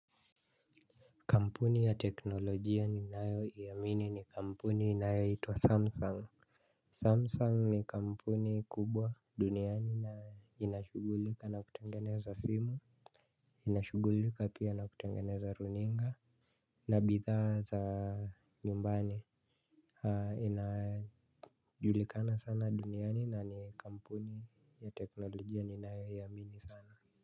Kampuni ya teknolojia ninayoiamini ni kampuni inayoitwa Samsung. Samsung ni kampuni kubwa duniani na inashughulika na kutengeneza simu. Inashughulika pia na kutengeneza runinga. Na bidhaa za nyumbani inajulikana sana duniani na ni kampuni ya teknolojia ninayoiamini sana.